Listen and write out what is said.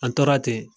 An tora ten